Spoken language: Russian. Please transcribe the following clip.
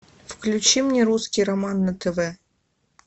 включи мне русский роман на тв